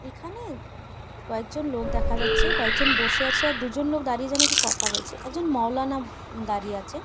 এখানে কয়েক জন লোক দেখা যাচ্ছে। কয়েকজন লোক বসে আছে। এর দুজন লোক দাঁড়িয়ে যেন কি কথা বলছে। একজন উম মাওলানা দাঁড়িয়ে আছে।